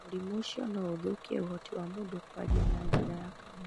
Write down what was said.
Mũrimũ ũcio no ũthũkie ũhoti wa mũndũ kwaria na njĩra ya kanua.